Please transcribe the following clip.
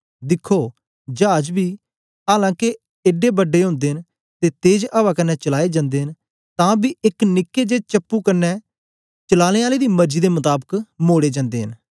दिखो चाज बी आलां के एड्डे बड्डे ओदे न ते तेज अवा कन्ने चलाए जन्दे न तां बी एक निक्के जे चप्पू क्न्ने चलाने आले दी मर्जी दे मताबाक मोड़े जन्दे न